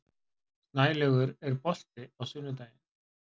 Snælaugur, er bolti á sunnudaginn?